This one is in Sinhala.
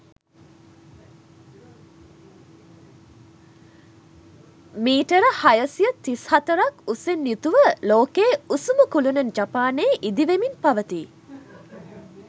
මීටර් හයසිය තිස්හතරක් උසින් යුතුව ලෝකයේ උසම කුළුණ ජපානයේ ඉදිවෙමින් පවතී.